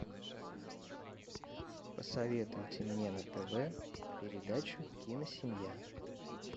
посоветуйте мне на тв передачу киносемья